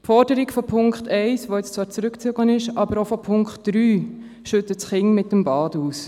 Die Forderung von Punkt 1, die nun zwar zurückgezogen wurde, aber auch die Forderung von Punkt 3 schütten das Kind mit dem Bad aus.